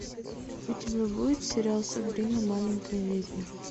у тебя будет сериал сабрина маленькая ведьма